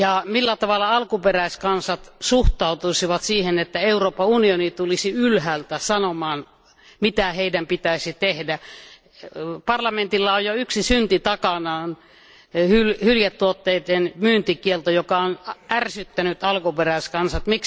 Millä tavoin alkuperäiskansat suhtautuisivat siihen, että Euroopan unioni tulisi ylhäältä sanomaan mitä heidän pitäisi tehdä? Parlamentilla on jo yksi synti takanaan, hyljetuotteiden myyntikielto, mikä on ärsyttänyt alkuperäiskansat.